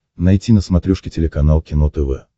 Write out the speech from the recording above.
найти на смотрешке телеканал кино тв